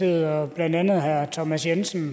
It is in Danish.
og blandt andet herre thomas jensen